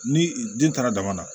Ni den taara dama na